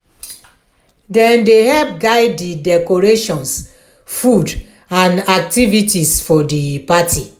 them dey help guide di decorations food and activities for di party.